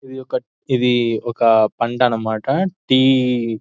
ఇది ఒక ఇది ఒక పంట అన్నమాట టీ --